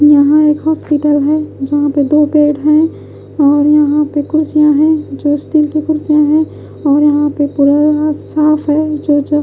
यहां एक हॉस्पिटल है जहां पर दो पेड़ हैं और यहां पे कुर्सियां है जो स्टील की कुर्सियां है और यहां पे साफ है जो जो--